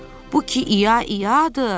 Bu ki İya-iyadır.